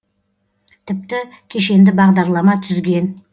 тіпті кешенді бағдарлама түзген